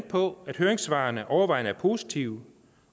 på at høringssvarene overvejende er positive